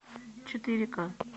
четыре ка